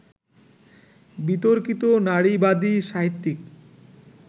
বিতর্কিত নারীবাদী সাহিত্যিক